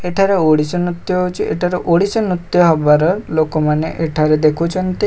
ଏଠାରେ ଓଡଶୀ ନୃତ୍ୟ ହୋଉଚି ଏଠାରେ ଓଡ଼ିଶୀ ନୃତ୍ୟ ହବାର ଲୋକମାନେ ଏଠାରେ ଦେଖୁଚନ୍ତି।